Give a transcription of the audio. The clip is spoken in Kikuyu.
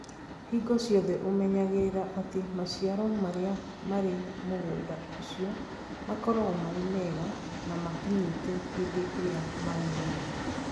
Hingo ciothe ũmenyagĩrĩra atĩ maciaro marĩa marĩ mũgũnda ũcio makoragwo marĩ mega na makinyĩte hĩndĩ ĩrĩa magĩrĩire.